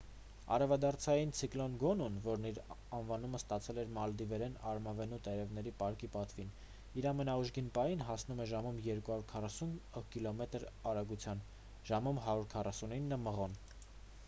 արևադարձային ցիկլոն գոնուն որն իր անվանումը ստացել է մալդիվերեն արմավենու տերևների պարկի պատվին իր ամենաուժգին պահին հասնում էր ժամում 240 կիլոմետր արագության ժամում 149 մղոն: